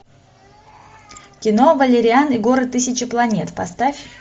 кино валериан и город тысячи планет поставь